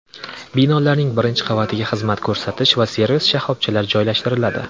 Binolarning birinchi qavatiga xizmat ko‘rsatish va servis shoxobchalari joylashtiriladi.